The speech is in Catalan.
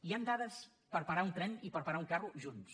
hi han dades per parar un tren i per parar un carro junts